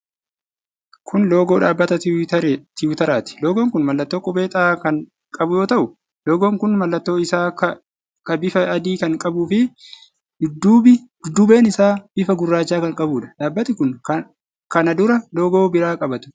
Kun loogoo dhaabbata Tiwutariti. Loogoon kun mallattoo qubee 'X' kan qabu yoo ta'u, loogoon kun mallattoon isaa ku bifa adii kan qabuu fi dudduubbeen isaa bifa gurraacha kan qabuudha. Dhaabbati kun kana dura loogoo biraa qaba ture.